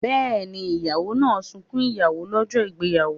Bẹ́ẹ̀ni, ìyàwó máa sunkún ìyàwó lọ́jọ́ ìgbéyàwó?